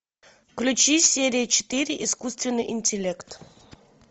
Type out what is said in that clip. включи серия четыре искусственный интеллект